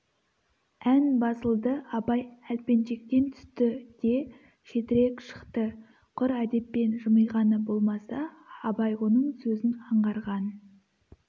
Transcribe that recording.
ән басылды абай әлпеншектен түсті де шетірек шықты құр әдеппен жымиғаны болмаса абай оның сөзін аңғарған